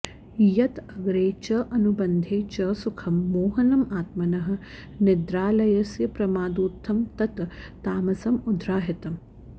यत् अग्रे च अनुबन्धे च सुखं मोहनम् आत्मनः निद्रालस्यप्रमादोत्थं तत् तामसम् उदाहृतम्